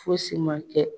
Fosi ma kɛ